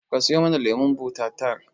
Ka siyo mana lemon buta tar